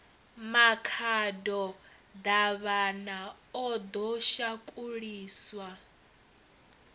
makhado davhana o ḓo shakuliswa